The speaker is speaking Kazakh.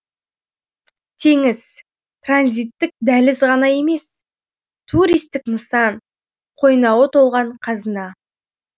теңіз транзиттік дәліз ғана емес туристік нысан қойнауы толған қазына